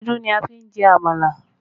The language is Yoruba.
Ewédú ni a fi jẹ àmàlà